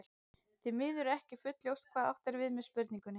Því miður er ekki fullljóst hvað átt er við með spurningunni.